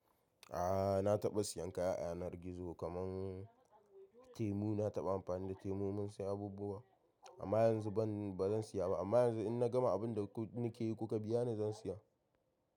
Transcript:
A'a na taɓa siyan kaya yanar gizo kaman temu, na taɓa amfani da temu mun siya abubuwa amma yanzu ban bazan siya ba amma yanzu in na gama abun da nikeyi kuka biya ni zan siya.